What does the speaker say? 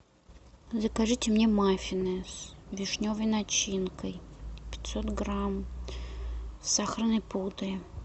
закажите мне маффины с вишневой начинкой пятьсот грамм с сахарной пудрой